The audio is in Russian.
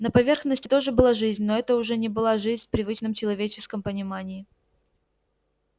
на поверхности тоже была жизнь но это уже не была жизнь в привычном человеческом понимании